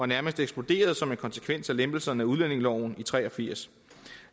nærmest eksploderet som en konsekvens af lempelserne af udlændingeloven i nitten tre og firs